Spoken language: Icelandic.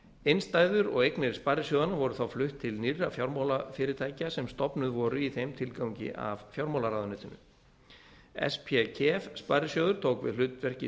innstæður og eignir sparisjóðanna voru þá flutt til nýrra fjármálafyrirtækja sem stofnuð voru í þeim tilgangi af fjármálaráðuneytinu spkef sparisjóður tók við hlutverki